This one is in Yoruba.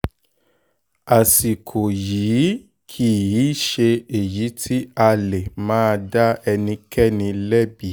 àsìkò yìí kì í ṣe èyí tí a lè máa dá ẹnikẹ́ni lẹ́bi